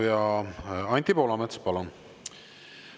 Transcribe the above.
Anti Poolamets, palun!